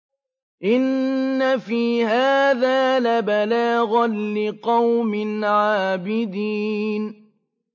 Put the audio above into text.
إِنَّ فِي هَٰذَا لَبَلَاغًا لِّقَوْمٍ عَابِدِينَ